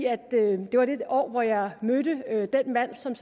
det var det år hvor jeg mødte den mand som